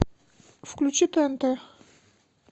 включи тнт